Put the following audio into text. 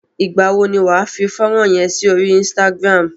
Ìgbà wo ni wà á fi fọ́nrán yẹn sí orí Instagram?